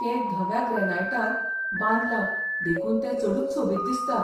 तें धव्या ग्रेनाइटांत बांदलां देखून तें चडूच सोबीत दिसता.